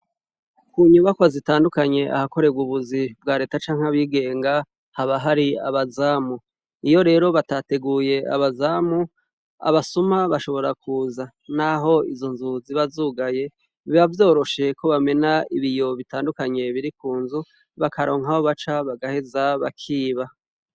Munyubakwa zindandukanye ahakorerwa ubuzi bwa reta canke abigenga haba hari abazamu, iyo rero batateguye abazamu, abasuma bashobora kuza naho izo nzu ziba zugaye biba vyoroshe ko bamena ibiyo bitandukanye biri kunzu bakaronka aho baca ,bagaheza bakiba.